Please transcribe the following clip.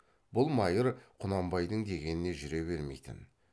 бұл майыр құнанбайдың дегеніне жүре бермейтін